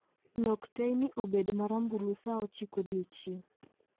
Lok teyni obed marambulu saa ochiko odiechieng